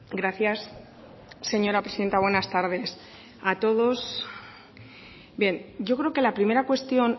gracias señora presidenta buenas tardes a todos bien yo creo que la primera cuestión